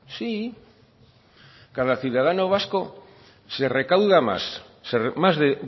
sí sí cada ciudadano vasco se recauda más más de